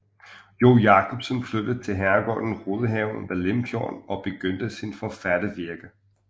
Jo Jacobsen flyttede til herregården Rydhave ved Limfjorden og begyndte sit forfattervirke